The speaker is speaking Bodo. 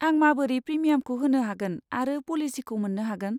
आं माबोरै प्रिमियामखौ होनो हागोन आरो पलिसिखौ मोन्नो हागोन?